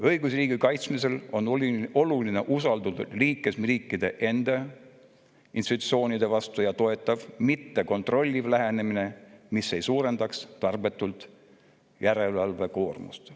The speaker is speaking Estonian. Õigusriigi kaitsmisel on oluline usaldus liikmesriikide enda institutsioonide vastu ja toetav, mitte kontrolliv lähenemine, mis ei suurenda tarbetult järelevalvekoormust.